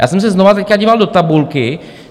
Já jsem se znovu teď díval do tabulky.